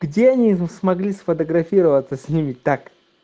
где они смогли сфотографироваться с ними так